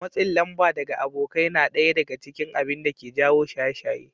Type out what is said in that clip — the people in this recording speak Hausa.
Matsin lamba daga abokai na ɗaya daga cikin abinda ke jawo shaye-shaye